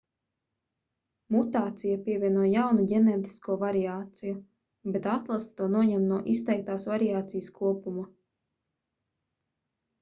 mutācija pievieno jaunu ģenētisko variāciju bet atlase to noņem no izteiktās variācijas kopuma